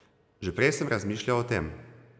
Že prej sem razmišljal o tem.